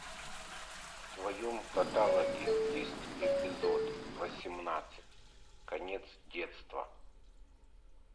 в твоем каталоге есть эпизод восемнадцать конец детства